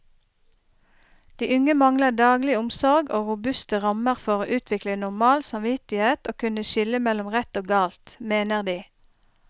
De unge mangler daglig omsorg og robuste rammer for å utvikle normal samvittighet og kunne skille mellom rett og galt, mener de.